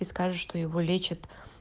и скажет что его лечат